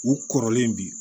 U kɔrɔlen bi